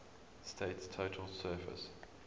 state's total surface